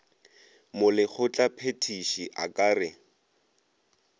molekgotla phethiši a ka re